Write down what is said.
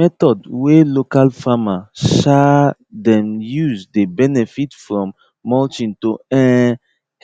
method way local farmer um them used dey benefit from mulching to um